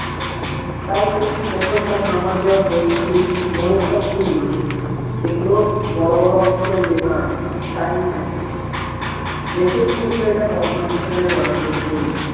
তাই সে প্রথম তার মামা দেওয়া বইটি মোড়কটা খুললো দেখলো বড়ো বড়ো অক্ষরে লেখা আছে time matching দেখেই বুঝলো এটা কল্প বিজ্ঞানের গল্পের বই